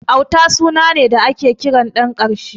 Auta suna ne da ake kiran ɗan ƙarshe.